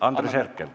Andres Herkel.